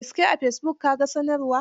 Da gaske a fesibuk ka ga sanarwar?